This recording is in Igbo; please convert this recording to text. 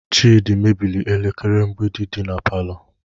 Chidi mebiri elekere mgbidi dị na palọ